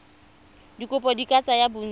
dikopo di ka tsaya bontsi